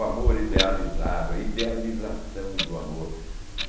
O amor idealizado, a idealização do amor.